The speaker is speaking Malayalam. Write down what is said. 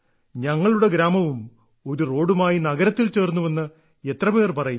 ഞങ്ങളുടെ ഗ്രാമവും ഒരു റോഡുമായി നഗരത്തിൽ ചേർന്നുവെന്ന് എത്രപേർ പറയുന്നു